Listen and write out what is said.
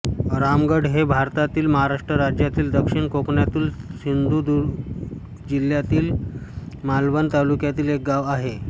रामगड हे भारतातील महाराष्ट्र राज्यातील दक्षिण कोकणातील सिंधुदुर्ग जिल्ह्यातील मालवण तालुक्यातील एक गाव आहे